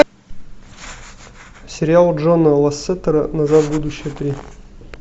сериал джона лассетера назад в будущее три